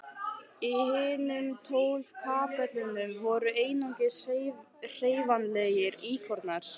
Í hinum tólf kapellunum voru einungis hreyfanlegir íkonar.